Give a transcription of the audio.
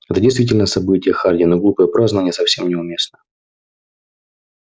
это действительно событие хардин но глупые празднования совсем не уместны